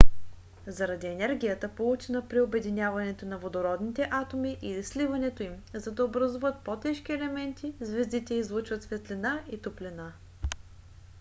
заради енергията получена при обединяването на водородните атоми или сливането им за да образуват по-тежки елементи звездите излъчват светлина и топлина